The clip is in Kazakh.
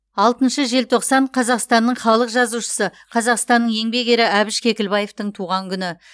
алтыншы желтоқсан қазақстанның халық жазушысы қазақстанның еңбек ері әбіш кекілбаевтің туған күні